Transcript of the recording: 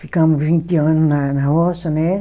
Ficamos vinte anos na na roça, né